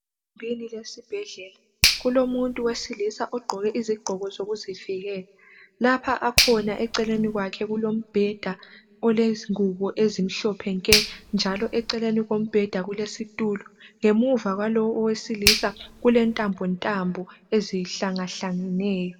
Egumbini lesibhedlela kulomuntu wesilisa ogqoke izigqoko zokuzivikela lapha akhona eceleni kwakhe kulombheda olengubo ezimhlophe nke njalo eceleni kombheda kulesitulo ngemuva kwalowo owesilisa kulentambo ntambo ezihlanga hlangeneyo.